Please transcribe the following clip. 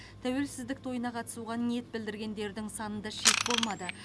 тәуелсіздік тойына қатысуға ниет білдіргендердің санында шек болмады